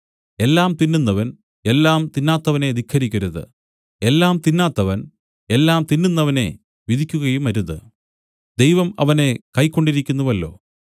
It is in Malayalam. എല്ലാം തിന്നുന്നവൻ എല്ലാം തിന്നാത്തവനെ ധിക്കരിക്കരുത് എല്ലാം തിന്നാത്തവൻ എല്ലാം തിന്നുന്നവനെ വിധിക്കുകയുമരുത് ദൈവം അവനെ കൈക്കൊണ്ടിരിക്കുന്നുവല്ലോ